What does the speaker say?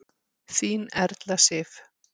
Þín Erla Sif.